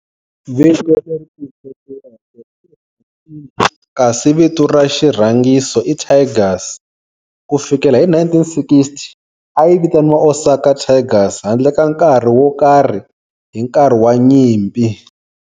Vito leri pfuxetiweke i"Hanshin" kasi vito ra xirhangiso i"Tigers". Ku fikela hi 1960, a yi vitaniwa Osaka Tigers handle ka nkarhi wo karhi hi nkarhi wa nyimpi.